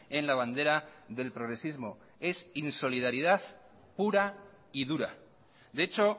en la bandera del progresismo es insolidaridad pura y dura de hecho